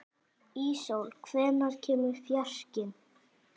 Íssól, hvenær kemur fjarkinn?